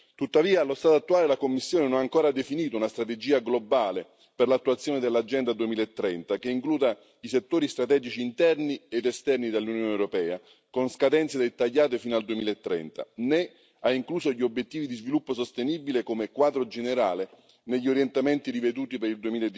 Tuttavia allo stato attuale la Commissione non ha ancora definito una strategia globale per l'attuazione dell'Agenda 2030 che includa i settori strategici interni ed esterni dell'Unione europea, con scadenze dettagliate fino al 2030, né ha incluso gli obiettivi di sviluppo sostenibile come quadro generale negli orientamenti riveduti per il